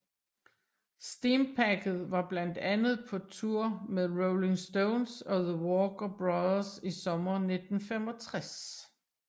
Steampacket var blandt andet på tour med The Rolling Stones og the Walker Brothers i sommeren 1965